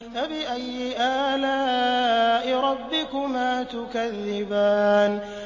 فَبِأَيِّ آلَاءِ رَبِّكُمَا تُكَذِّبَانِ